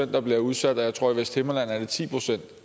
der bliver udsat og jeg tror i vesthimmerland er ti pct